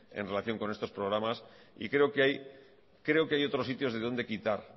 en relación con esos programas y creo que hay otros sitios de donde quitar